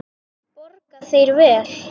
Borga þeir vel?